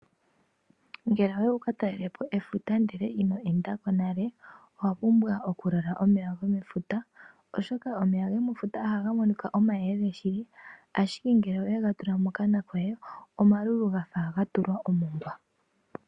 Ngele owayi wu ka talelepo efuta ndele ino enda ko nale owa pumbwa oku lola omeya gomefuta, oshoka omeya gomefuta ohaga monika omayelele shili ashike ngele owega tula mokana koye omalulu ga fa ga tulwa omongwa.